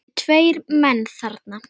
Það eru tveir menn þarna